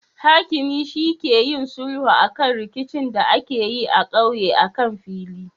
Hakimi shi ke yin sulhu akan rikicin da akeyi a ƙauye akan fili